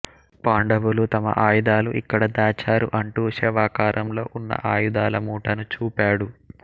పాండవులు తమ ఆయుధాలను ఇక్కడ దాచారు అంటూ శవాకారంలో ఉన్న ఆయుధాల మూటను చూపాడు